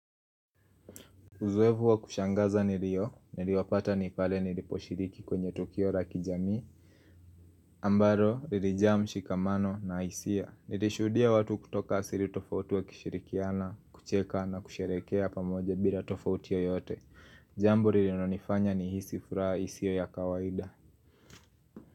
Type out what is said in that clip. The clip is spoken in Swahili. Uzuevu wa kushangaza nilio, nilio pata nipale nilipo shiriki kwenye tokio raki jami ambaro, nilijamu shikamano na isia. Nilishudia watu kutoka siri tofautu wa kishirikiana, kucheka na kusherekea pamoje bila tofautia yote. Jambo nilinonifanya ni hisifura isio ya kawaida.